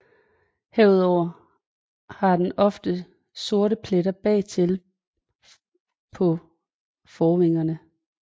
Herudover har den ofte sorte pletter bagtil på forvingerne